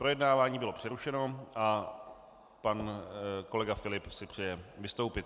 Projednávání bylo přerušeno a pan kolega Filip si přeje vystoupit.